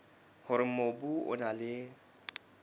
hore mobu o na le